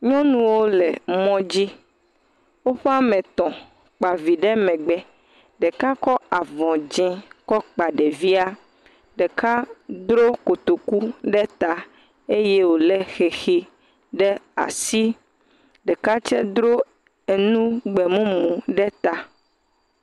Nyɔnuwo le mɔ dzi, woƒe ame tɔ̃, kpa vi ɖe megbe, ɖeka kɔ avɔ dzee kɔ kpa ɖevia, ɖeka dro kotoku ɖe ta eye wòlé xexi ɖe asi, ɖeka tsɛ dro enu gbe mumu ɖe ta.